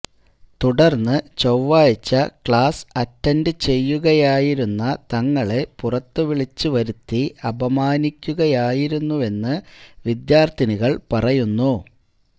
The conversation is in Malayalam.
തുടര്ന്ന് ചൊവ്വാഴ്ച ക്ലാസ് അറ്റന്റ് ചെയ്യുകയായിരുന്ന തങ്ങളെ പുറത്തുവിളിച്ച് വരുത്തി അപമാനിക്കുകയായിരുന്നുവെന്ന് വിദ്യാര്ത്ഥിനികള് പറയുന്നു